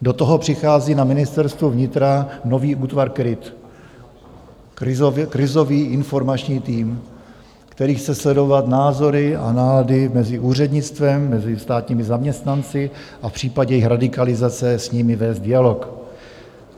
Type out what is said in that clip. Do toho přichází na Ministerstvo vnitra nový útvar KRIT, krizový informační tým, který chce sledovat názory a nálady mezi úřednictvem, mezi státními zaměstnanci a v případě jejich radikalizace s nimi vést dialog.